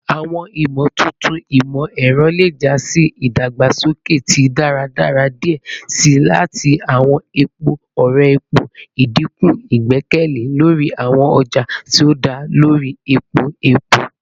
Awọn imotuntun imọ-ẹrọ le ja si idagbasoke ti daradara diẹ sii ati awọn epo ore-ọrẹ, idinku igbẹkẹle lori awọn ọja ti o da lori epo epo.